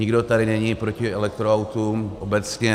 Nikdo tady není proti elektroautům obecně.